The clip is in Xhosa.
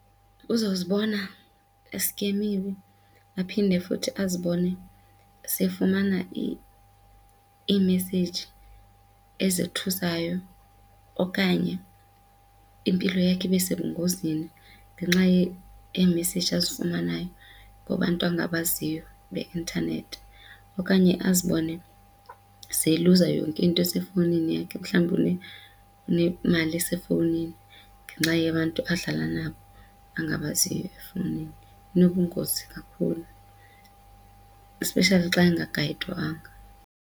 Uzozibona esikemiwe aphinde futhi azibone sefumana iimeseyiji ezithusayo okanye impilo yakhe ibe sebungozini ngenxa yeemeseji azifumanayo kubantu angabaziyo beintanethi. Okanye azibone seyiluza yonke into esefowunini yakhe mhlawumbi unemali esefowunini ngenxa yabantu adlala nabo abangabaziyo efowunini. Inobungozi kakhulu especially xa engagayidwanga.